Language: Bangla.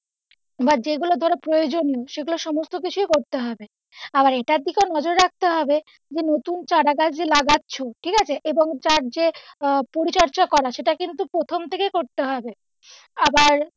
বা যেগুলো ধরো প্রয়োজনীয় সেগুলো সমস্ত বিষয়ে করতে হবে আর এটার দিকেও নজর রাখতে হবে যে নতুন চারা গাছ যে লাগাচ্ছো ঠিকআছে এবং তার যে পরিচর্যা করা সেটা কিন্তু প্রথম থেকে করতে হবে আবার,